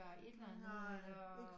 Et eller andet eller